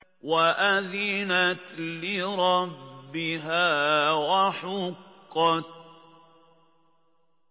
وَأَذِنَتْ لِرَبِّهَا وَحُقَّتْ